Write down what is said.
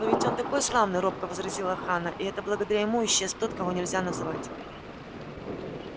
но ведь он такой славный робко возразила ханна и это благодаря ему исчез тот-кого-нельзя-называть